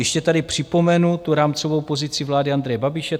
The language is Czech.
Ještě tady připomenu tu rámcovou pozici vlády Andreje Babiše.